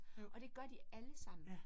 Og det gør de allesammen